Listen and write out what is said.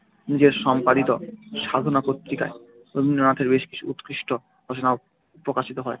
নিজের সম্পাদিত সাধনা পত্রিকায় রবীন্দ্রনাথের বেশ কিছু উৎকৃষ্ট রচনা প্রকাশিত হয়।